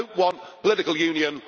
I do not want political union.